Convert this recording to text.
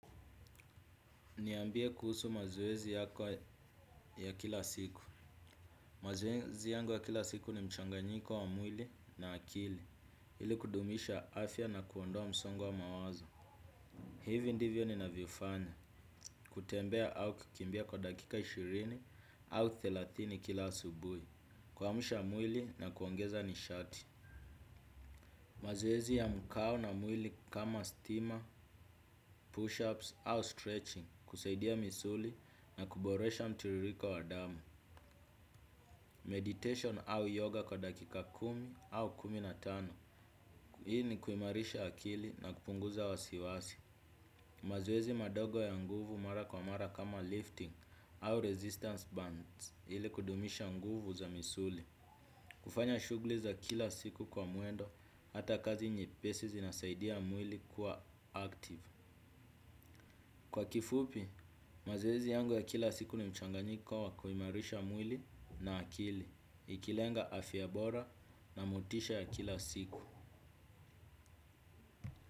Niambie kuhusu mazoezi yako ya kila siku. Mazoezi yangu ya kila siku ni mchanganyiko wa mwili na akili. Ili kudumisha afya na kuondoa msongo wa mawazo. Hivi ndivyo ninavyofanya. Kutembea au kukimbia kwa dakika ishirini au thelathini kila asubuhi. Kuamsha mwili na kuongeza nishati. Mazoezi ya mkau na mwili kama "steamer", "push-ups" au "stretching". Husaidia misuli na kuboresha mtiririko wa damu. "Meditation" au yoga kwa dakika kumi au kumi na tano. Hii ni kuimarisha akili na kupunguza wasiwasi. Mazoezi madogo ya nguvu mara kwa mara kama "lifting" au "resistance bands" ili kudumisha nguvu za misuli. Kufanya shughli za kila siku kwa mwendo hata kazi nyepesi zinasaidia mwili kuwa "active". Kwa kifupi, mazoezi yangu ya kila siku ni mchanganyiko wa kuimarisha mwili na akili. Ikilenga afya bora na motisha ya kila siku.